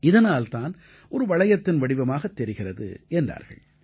இதனால் தான் ஒரு வளையத்தின் வடிவமாகத் தெரிகிறது என்றார்கள்